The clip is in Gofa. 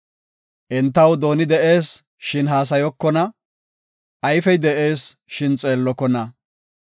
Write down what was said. Entaw dooni de7ees, shin haasayokona; ayfey de7ees, shin xeellokona.